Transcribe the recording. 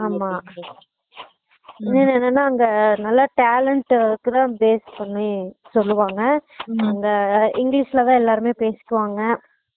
ஆமா இல்லைன என்னனா அங்க நல்லா talent கு தான் base பண்ணி சொல்லுவாங்க அங்க english ல தான் எல்லாருமே பேசிக்கு வாங்க